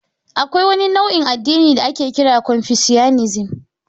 Akwai wani nau'in addini da ake kira confucianism.